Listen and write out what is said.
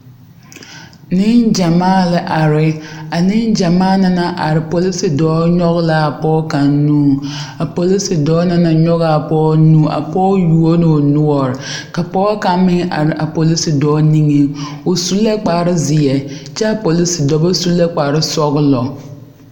Neŋgyɛmaa la are a neŋgyɛmaa na naŋ are polisidɔɔ nyɔge la a pɔge kaŋ nuureŋ polisidɔɔ na naŋ nyɔge a pɔge na nu a pɔge yuo la o noɔre ka pɔge kaŋ meŋ are polisidɔɔ nigeŋ o su la kparezeɛ kyɛ a polisidɔba su la kparesɔglɔ.